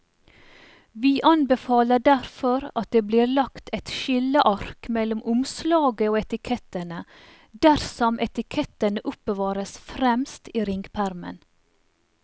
Vi anbefaler derfor at det blir lagt et skilleark mellom omslaget og etikettene dersom etikettene oppbevares fremst i ringpermen.